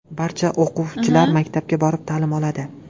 Barcha o‘quvchilar maktabga borib, ta’lim oladi.